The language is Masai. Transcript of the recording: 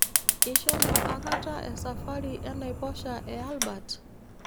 Ishomo akata esafari enaiposha e Albert?